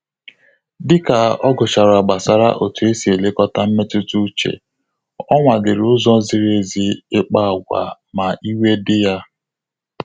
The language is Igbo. Dịka ọ gụchara gbasara otú esi elekọta mmetụta uche, ọ nwa liri ụzọ ziri ezi ikpa agwa ma iwe dị ya